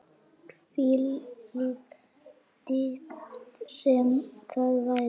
Hvílík dýpt sem það væri.